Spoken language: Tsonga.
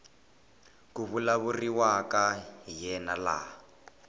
ku vulavuriwaka hi yena laha